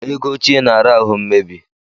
Ego óchiè na-ara ahụ mmebi.